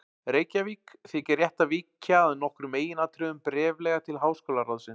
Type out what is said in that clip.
Reykjavík, þykir rétt að víkja að nokkrum meginatriðum bréflega til háskólaráðsins.